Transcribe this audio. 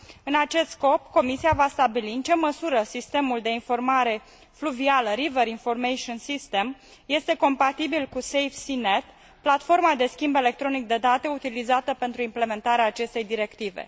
În acest scop, Comisia va stabili în ce măsură sistemul de informare fluvială River Information System este compatibil cu SafeSeaNet, platforma de schimb electronic de date utilizată pentru implementarea acestei directive.